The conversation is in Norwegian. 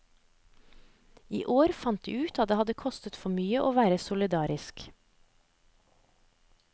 I år fant de ut at det hadde kostet for mye å være solidariske.